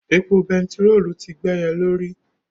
Epo bẹntiróòlù ti gbéye lórí.